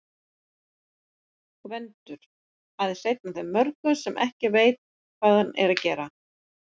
Gvendur- aðeins einn af mörgum sem ekki veit, hvað hann er að gera.